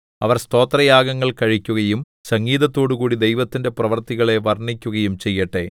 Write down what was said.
അവർ സ്തോത്രയാഗങ്ങൾ കഴിക്കുകയും സംഗീതത്തോടുകൂടി ദൈവത്തിന്റെ പ്രവൃത്തികളെ വർണ്ണിക്കുകയും ചെയ്യട്ടെ